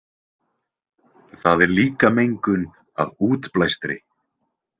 Það er líka mengun af útblæstri.